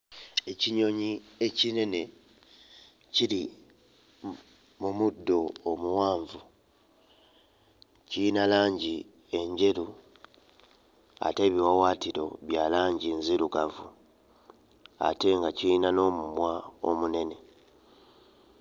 Ekinyonyi ekinene kiri mu muddo omuwanvu, kiyina langi enjeru ate ebiwawaatiro bya langi nzirugavu ate nga kiyina n'omumwa omunene.